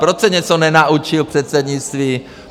Proč se něco nenaučil v předsednictví?